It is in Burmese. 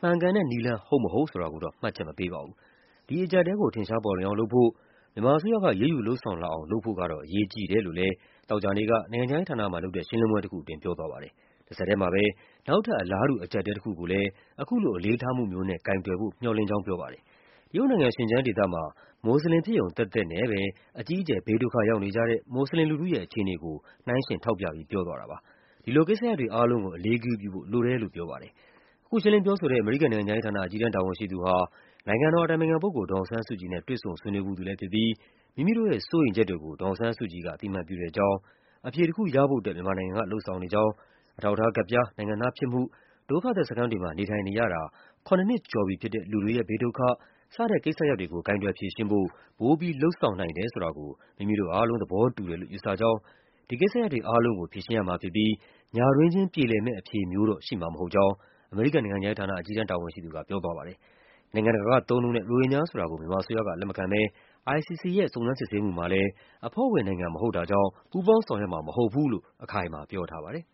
မှန်ကန်တဲ့နည်းလမ်း ဟုတ်မဟုတ်ဆိုတာကိုတော့ မှတ်ချက်မပေးပါဘူး။ ဒီအကျပ်အတည်းကို ထင်ရှားပေါ်လွင်အောင်လုပ်ဖို့၊ မြန်မာအစိုးရက အရေးယူူလုပ်ဆောင်လာအောင် လုပ်ဖို့ကတော့ အရေးကြီးတယ်လို့လည်း သောကြာနေ့က နိုင်ငံခြားရေးဌာနမှာလုပ်တဲ့ ရှင်းလင်းပွဲတခုအတွင်း ပြောသွားပါတယ်။ တဆက်ထဲမှာပဲ နောက်ထပ် အလားတူ အကျပ်အတည်းတခုကိုလည်း အခုလို အလေးထားမှုမျိုးနဲ့ ကိုင်တွယ်ဖို့ မျှော်လင့်ကြောင်း ပြောပါတယ်။ တရုတ်နိုင်ငံ၊ Xinjiang ဒေသမှာ မွတ်ဆလင်ဖြစ်ရုံသက်သက်နဲ့ပဲ အကြီးအကျယ် ဘေးဒုက္ခရောက်နေကြတဲ့ မွတ်ဆလင်လူထုရဲ့ အခြေအနေကို နှိုင်းယှဉ်ထောက်ပြပြီး ပြောသွားတာပါ။ ဒီလိုကိစ္စရပ်တွေအားလုံးကို အလေးဂရုပြုဖို့ လိုတယ် လို့ ပြောပါတယ်။ အခုရှင်းလင်းပြောဆိုတဲ့ အမေရိကန်နိုင်ငံခြားရေးဌာန အကြီးတန်း တာဝန်ရှိသူဟာ နိုင်ငံတော်အတိုင်ပင်ခံပုဂ္ဂိုလ် ဒေါ်အောင်ဆန်း စုကြည်နဲ့ တွေ့ဆုံဆွေးနွေးဖူးသူလည်းဖြစ်ပြီး မိမိတို့ရဲ့စိုးရိမ်ချက်တွေကို ဒေါ်အောင်ဆန်းစုကြည်က အသိအမှတ်ပြုတဲ့အကြောင်း၊ အဖြေတခုရဖို့အတွက် မြန်မာနိုင်ငံက လုပ်ဆောင်နေကြောင်း၊ အထောက်အထားကဒ်ပြား၊ နိုင်ငံသားဖြစ်မှု၊ ဒုက္ခသည်စခန်းတွေ မှာ နေထိုင်နေရတာ ခုနစ်နှစ်ကျော်ပြီဖြစ်တဲ့ လူတွေရဲ့ဘေးဒုက္ခ စတဲ့ကိစ္စရပ်တွေကို ကိုင်တွယ်ဖြေရှင်းဖို့ ပိုပြီး လုပ်ဆောငနိုင် တယ်ဆိုတာကို မိမိတို့အားလုံး သဘောတူတယ်လို့ ယူဆကြောင်း၊ ဒီကိစ္စရပ်တွေအားလုံးကို ဖြေရှင်းရမှာဖြစ်ပြီး ညတွင်းချင်း ပြေလည်မယ့်အဖြေမျိုးတော့ ရှိမှာမဟုတ်ကြောင်း အမေရိကန်နိုင်ငံခြားရေးဌာန အကြီးတန်းတာဝန်ရှိသူက ပြောသွားပါတယ်။ နိုင်ငံတကာကသုံးနှုန်းတဲ့ ရိုဟင်ဂျာဆိုတာကို မြန်မာအစိုးရက လက်မခံဘဲ ICC ရဲ့ စုံစမ်းစစ်ဆေးမှုမှာလည်း အဖွဲ့ဝင်နိုင်ငံမဟုတ် တာကြောင့် ပူးပေါင်းဆောင်ရွက်မှာ မဟုတ်ဘူးလို့ အခိုင်အမာပြောထားပါတယ်